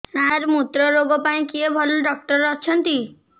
ସାର ମୁତ୍ରରୋଗ ପାଇଁ କିଏ ଭଲ ଡକ୍ଟର ଅଛନ୍ତି